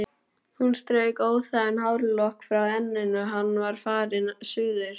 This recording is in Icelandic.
Hún strauk óþægan hárlokk frá enninu: Hann er farinn suður